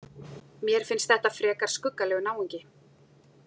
Mér finnst þetta frekar skuggalegur náungi.